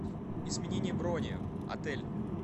изменение брони отель